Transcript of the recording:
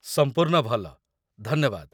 ସମ୍ପୂର୍ଣ୍ଣ ଭଲ, ଧନ୍ୟବାଦ।